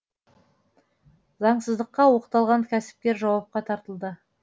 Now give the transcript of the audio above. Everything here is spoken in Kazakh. заңсыздыққа оқталған кәсіпкер жауапқа тартылды